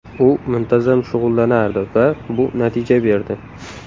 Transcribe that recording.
U muntazam shug‘ullanardi va bu natija berdi.